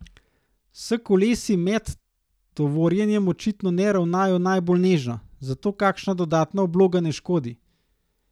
S kolesi med tovorjenjem očitno ne ravnajo najbolj nežno, zato kakšna dodatna obloga ne škodi.